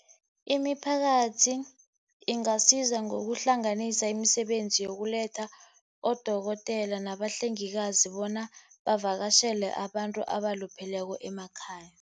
Imiphakathi ingasiza ngokuhlanganisa imisebenzi yokuletha odokotela nabahlengikazi, bona bavakatjhele abantu abalupheleko emakhaya.